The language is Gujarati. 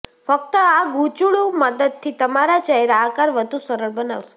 ફક્ત આ ગૂંચળું મદદથી તમારા ચહેરા આકાર વધુ સરળ બનાવશે